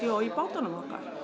í bátunum okkar